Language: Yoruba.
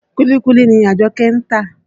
Kúlíkúlí ni Àjọ́kẹ́ ń tà.